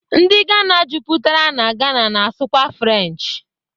Ndi Ghana juputara na Ghana na-asụ kwa French